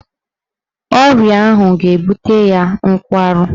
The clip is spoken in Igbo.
Ọrịa ahụ ga-ebutere ya nkwarụ